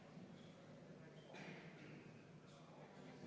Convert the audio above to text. V a h e a e g